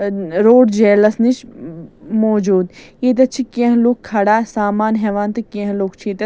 .ان اروٗٹ جیلس نِش م م موجوٗد ییٚتٮ۪تھ چھ کیٚنٛہہ لُکھ کھڑا سامان ہٮ۪وان تہٕ کیٚنٛہہ لُکھ چھ ییٚتٮ۪تھ